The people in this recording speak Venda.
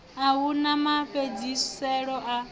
a hu na mafhedziselo a